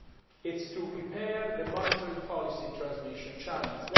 it is to repair the monetary policy transmission channels.